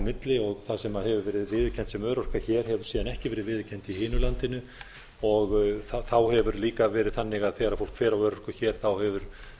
á milli það sem hefur verið viðurkennt sem örorka hér hefur síðan ekki verið viðurkennt í hinu landinu þá hefur líka verið þannig að þegar fólk fer á örorku hér hefur